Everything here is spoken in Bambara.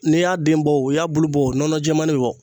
N'i y'a den bɔ o, i y'a bulu bɔ nɔnɔjɛmani bɛ bɔ.